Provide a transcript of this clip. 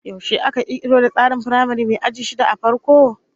Yaushe aka kirkiro da tsarin firamare mai aji shida a farko?